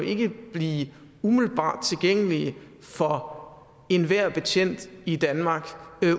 blive umiddelbart tilgængelige for enhver betjent i danmark